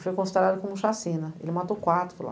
E foi considerado como chacina, ele matou quatro lá.